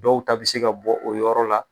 Dɔw ta bɛ se ka bɔ o yɔrɔ la.